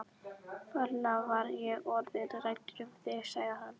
Ferlega var ég orðinn hræddur um þig sagði hann.